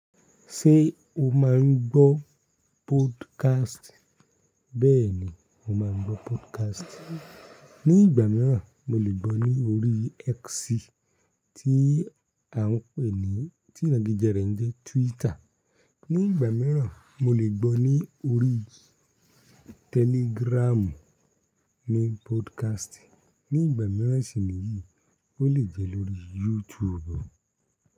Ṣé o máa ń gbọ́ podcast? Bẹ́ẹ̀ni, mo máa ń gbọ́ podcast. Ni ìgbà mìíràn, mo lè gbọ́ ní orí X tí à ń pè ní, tí ìdániléké rẹ̀ ń jẹ́ Twitter. Ní ìgbà mìíràn, mo lè gbọ́ ní orí Telegram ní podcast. Ní ìgbà mìíràn sì ni yìí, ó lè jẹ́ lórí YouTube.